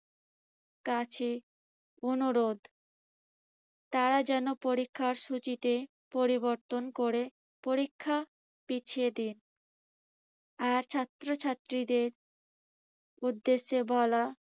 কাছে অনুরোধ তারা যেন পরীক্ষার সূচিতে পরিবর্তন করে পরীক্ষা পিছিয়ে দিন আর ছাত্রছাত্রিদের উদ্দেশ্যে বলা